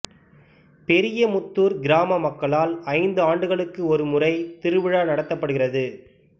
பெரியமுத்தூர் கிராம மக்களால் ஐந்து ஆண்டுகளுக்கு ஒரு முறை திருவிழா நடத்தப்படுகிறது